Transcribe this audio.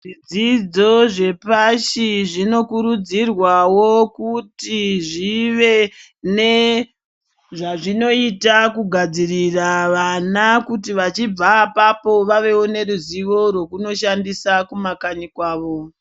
Zvidzidzo zvepasi zvinokurudzirwawo kuti zvive ne ,zvazvinoita kugadzirira vana kuti vachibva apapo vave nezuzivo rwekunoshandisa kumakanyi kwavo.